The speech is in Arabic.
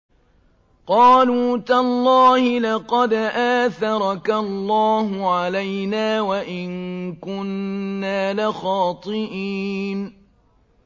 قَالُوا تَاللَّهِ لَقَدْ آثَرَكَ اللَّهُ عَلَيْنَا وَإِن كُنَّا لَخَاطِئِينَ